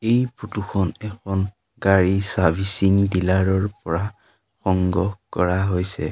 এই ফটো খন এখন গাড়ী চাৰ্ভিছিং ডিলাৰ ৰ পৰা সংগ্ৰহ কৰা হৈছে।